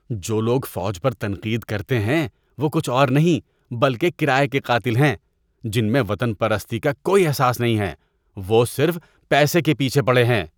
جو لوگ فوج پر تنقید کرتے ہیں وہ کچھ اور نہیں بلکہ کرایے کے قاتل ہیں جن میں وطن پرستی کا کوئی احساس نہیں ہے۔ وہ صرف پیسے کے پیچھے پڑے ہیں۔